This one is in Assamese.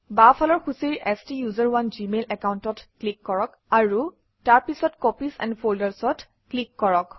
বাওঁফালৰ সূচীৰ ষ্টাচাৰণে জিমেইল একাউণ্টত ক্লিক কৰক আৰু তাৰপিছত কপিজ এণ্ড Folders অত ক্লিক কৰক